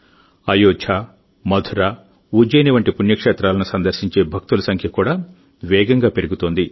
అయోధ్య మధుర ఉజ్జయిని వంటి పుణ్యక్షేత్రాలను సందర్శించే భక్తుల సంఖ్య కూడా వేగంగా పెరుగుతోంది